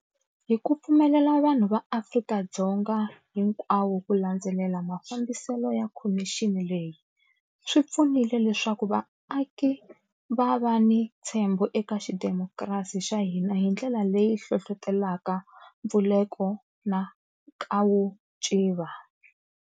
Hi ku pfumelela vanhu va Afrika-Dzonga hinkwawo ku landzelela mafambiselo ya khomixini leyi, swi pfunile leswaku vaaki va va ni ntshembo eka xidemokirasi xa hina hi ndlela leyi hlohlotelaka mpfuleko na nkavuciva.